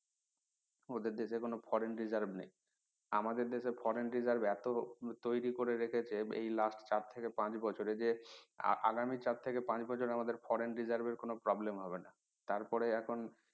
ওদের দেশে কোনো foreign reserve নেই আমাদের দেশের foreign reserve এত তৈরী করে রেখেছে এই last চার থেকে পাঁচ বছরে যে আগামী চার থেকে পাঁচ বছর আমাদের foreign reserve এর কোনো problem হবে না তারপরে এখন